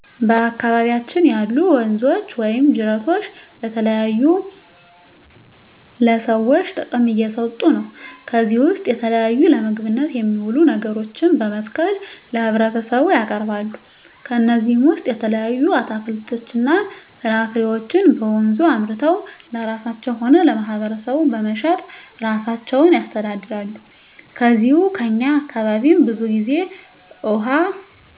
በአካባቢያችን ያሉ ወንዞች ወይም ጅረቶች ለተለያዩ ለሰዎች ጥቅም እየሠጡ ነው ከዚህ ውስጥ የተለያዩ ለምግብነት የሚውሉ ነገሮችን በመትከል ለህብረተሰቡ ያቀርባሉ ከነዚህም ውሰጥ የተለያዩ አትክልቶች ፍራፍሬዎችን በወንዙ አምርተው ለራሳቸው ሆነ ለማህበረሰቡ በመሸጥ እራሳቸውን ያስተዳድራሉ ከዚው ከእኛ አካባቢም ብዙ ግዜ እውሃ